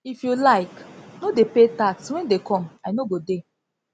if you like no dey pay tax when dey go come i no go dey